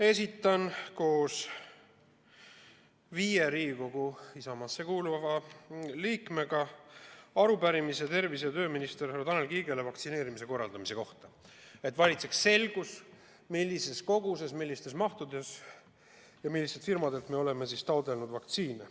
Esitan koos viie Isamaasse kuuluva Riigikogu liikmega tervise- ja tööministrile, härra Tanel Kiigele arupärimise vaktsineerimise korraldamise kohta, et valitseks selgus, millises koguses, millistes mahtudes ja millistelt firmadel me oleme taotlenud vaktsiine.